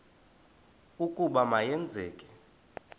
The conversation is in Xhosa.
ukuba ma yenzeke